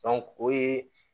o ye